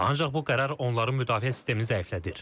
Ancaq bu qərar onların müdafiə sistemini zəiflədir.